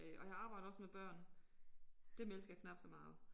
Øh og jeg arbejder også med børn. Dem elsker jeg knapt så meget